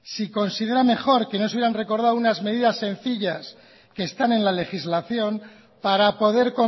si considera mejor que no se hubieran recordado unas medidas sencillas que están en la legislación para poder